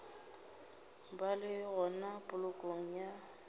ba le gona polokong ya